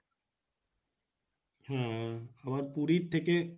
হম তোমার পুরির থেকে,